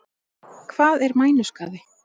Hvað er mænuskaði?